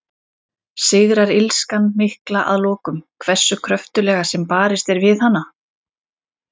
Sigrar illskan mikla að lokum, hversu kröftuglega sem barist er við hana?